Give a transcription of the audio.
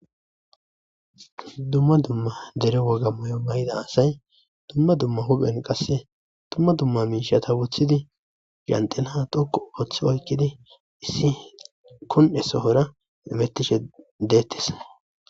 Dumma dumma dere woga mayo mayida asay dumma dumma huphen qasse dumma dumma miishata wothidi zanxila dhoqqu oothi oyqidi issi kun'e soora hametishe dettees.